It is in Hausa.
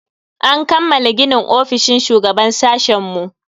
An kammala ginin ofishin shugaban sashen mu.